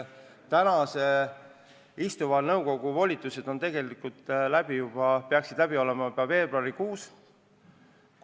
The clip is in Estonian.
Praeguse nõukogu volitused pidid tegelikult lõppema juba veebruarikuus.